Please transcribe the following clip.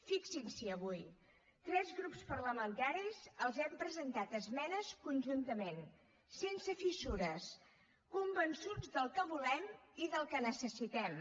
fixin s’hi avui tres grups parlamentaris els hem presentat esmenes conjuntament sense fissures convençuts del que volem i del que necessitem